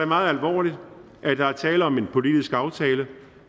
meget alvorligt at der er tale om en politisk aftale